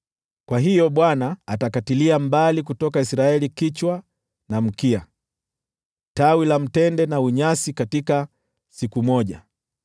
Kwa hiyo Bwana atakatilia mbali kutoka Israeli kichwa na mkia, tawi la mtende na tete katika siku moja.